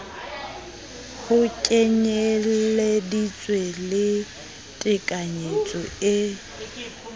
ho kenyeleditse le tekanyetso e